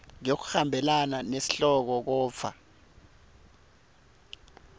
ngekuhambelana nesihloko kodvwa